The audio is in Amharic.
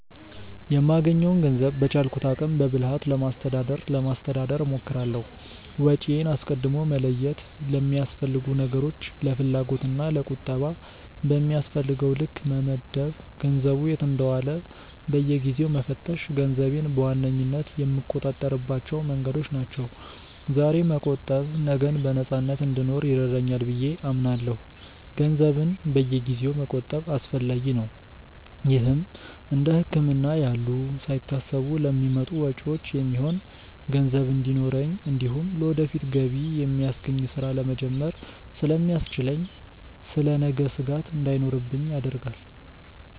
የማገኘውን ገንዘብ በቻልኩት አቅም በብልሃት ለማስተዳደር ለማስተዳደር እሞክራለሁ። ወጪዬን አስቀድሞ መለየት፣ ለሚያስፈልጉ ነገሮች፣ ለፍላጎት እና ለቁጠባ በሚያስፈልገው ልክ መመደብ፣ ገንዘቡ የት እንደዋለ በየጊዜው መፈተሽ ገንዘቤን በዋነኝነት የምቆጣጠርባቸው መንገዶች ናቸው። ዛሬ መቆጠብ ነገን በነፃነት እንድኖር ይረዳኛል ብዬ አምናለሁ። ገንዘብን በየጊዜው መቆጠብ አስፈላጊ ነው። ይህም እንደ ህክምና ያሉ ሳይታሰቡ ለሚመጡ ወጪዎች የሚሆን ገንዘብ እንዲኖረኝ እንዲሁም ለወደፊት ገቢ የሚያስገኝ ስራ ለመጀመር ስለሚያስችለኝ ስለ ነገ ስጋት እንዳይኖርብኝ ያደርጋል።